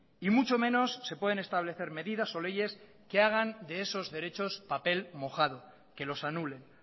y mucho menos se pueden establecer medidas o leyes que hagan de esos derechos papel mojado que los anulen